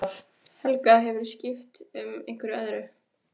Helga: Hefurðu skipt einhverju öðru?